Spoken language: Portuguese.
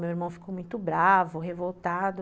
Meu irmão ficou muito bravo, revoltado.